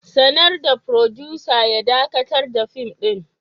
Sanar da furodusa ya dakatar da fim ɗin.